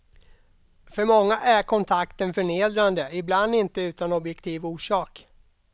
För många är kontakten förnedrande, ibland inte utan objektiv orsak.